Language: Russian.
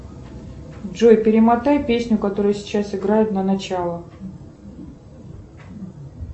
джой перемотай песню которая сейчас играет на начало